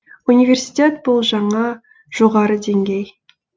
университет бұл жаңа жоғары деңгей